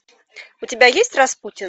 у тебя есть распутин